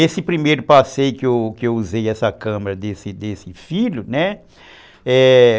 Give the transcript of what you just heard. Esse primeiro passeio que que eu usei essa câmera desse filho, né?